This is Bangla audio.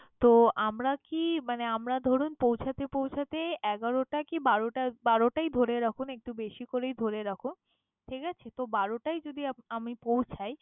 তো আমরা কি মানে আমরা ধরুন পৌঁছাতে পৌঁছাতে এগারোটা কি বারোটা, বারোটাই ধরে রাখুন, একটু বেশি করেই ধরে রাখুন, ঠিক আছে? তো বারোটায় যদি আম~ আমি পৌঁছাই